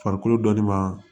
Farikolo dɔnni ma